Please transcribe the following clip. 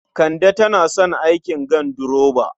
Kande tana son aikin ganduroba.